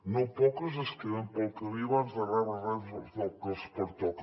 no poques es queden pel camí abans de rebre res del que els pertoca